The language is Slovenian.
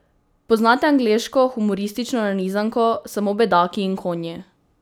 Poznate angleško humoristično nanizanko Samo bedaki in konji?